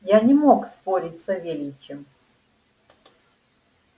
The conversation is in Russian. я не мог спорить с савельичем